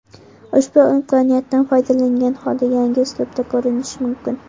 Ushbu imkoniyatdan foydalangan holda yangi uslubda ko‘rinish mumkin.